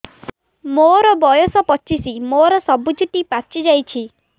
ମୋର ବୟସ ପଚିଶି ମୋର ସବୁ ଚୁଟି ପାଚି ଯାଇଛି